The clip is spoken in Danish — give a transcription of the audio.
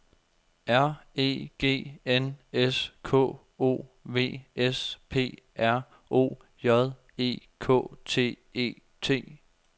R E G N S K O V S P R O J E K T E T